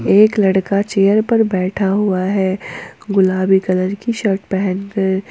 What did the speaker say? एक लड़का चेयर पर बैठा हुआ है गुलाबी कलर की शर्ट पहन के।